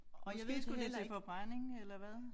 Måske skulle det til forbrænding eller hvad